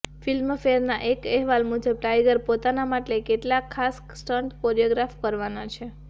ફિલ્મફેરના એક અહેવાલ મુજબ ટાઇગર પોતાના માટે કેટલાક ખાસ સ્ટંટ કોરિયોગ્રાફ કરવાના છે